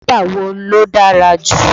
Kílípà wo ló dára jù?